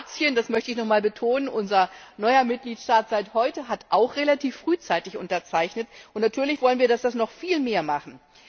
Kroatien das möchte ich noch einmal betonen unser neuer Mitgliedstaat seit heute, hat auch relativ frühzeitig unterzeichnet, und natürlich wollen wir, dass das noch viele mehr machen.